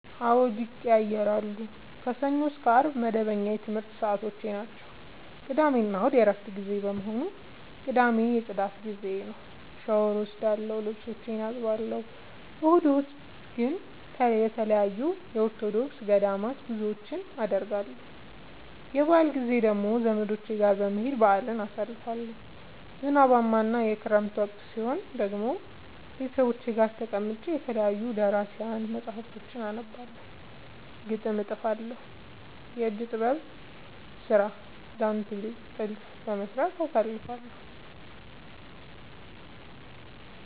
አዎድ ይቀየያራሉ። ከሰኞ እስከ አርብ መደበኛ የትምረት ሰዓቶቼናቸው ቅዳሜና እሁድ የእረፍት ጊዜ በመሆኑ። ቅዳሜ የፅዳት ጊዜዬ ነው። ሻውር እወስዳለሁ ልብሶቼን አጥባለሁ። እሁድ እሁድ ግን ተለያዩ የኦርቶዶክስ ገዳማት ጉዞወችን አደርገለሁ። የበአል ጊዜ ደግሞ ዘመዶቼ ጋር በመሄድ በአልን አሳልፋለሁ። ዝናባማ እና የክረምት ወቅት ሲሆን ደግሞ ቤተሰብ ጋር ተቀምጬ የተለያዩ ደራሲያን መፀሀፍቶችን አነባለሁ፤ ግጥም እጥፋለሁ፤ የእጅ ጥበብ ስራ ዳንቴል ጥልፍ በመስራት አሳልፍለሁ።